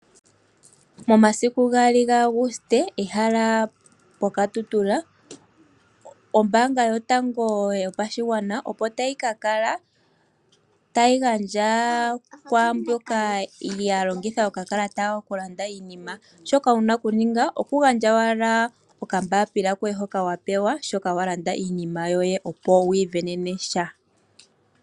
Momasiku 2 Auguste, ehala opoKatutura ombaanga yotango yopashigwana, opo tayi ka kala tayi gandja kwaamboka ya longitha okakalata kawo okulanda iinima. Shoka wu na okuninga okugandja owala okambaapila koye hoka wa pewa shi wa landa iinima yoye, opo wi isindanene sha.